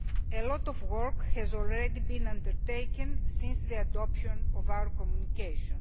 A lot of work has already been undertaken since the adoption of our Communication.